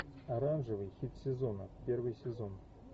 оранжевый хит сезона первый сезон